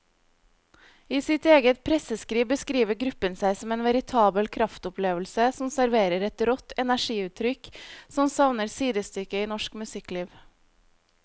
I sitt eget presseskriv beskriver gruppen seg som en veritabel kraftopplevelse som serverer et rått energiutrykk som savner sidestykke i norsk musikkliv.